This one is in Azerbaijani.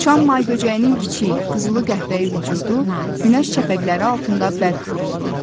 Uçan may böcəyinin kiçik, qızılı qəhvəyi vücudu günəş şəfəqləri altında bərq vururdu.